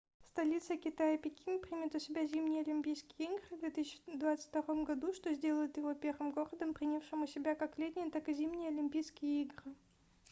столица китая пекин примет у себя зимние олимпийские игры в 2022 году что сделает его первым городом принявшим у себя как летние так и зимние олимпийские игры